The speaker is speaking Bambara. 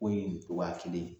Ko ye ko waa kelen